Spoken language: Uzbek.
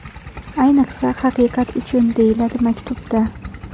Ayniqsa, Haqiqat uchun!”, deyiladi maktubda.